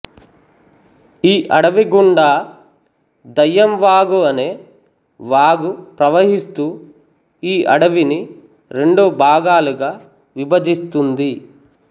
ఈ అడవి గుండా దయ్యం వాగు అనే వాగు ప్రవహిస్తూ ఈ అడవిని రెండు భాగాలుగా విభజిస్తుంది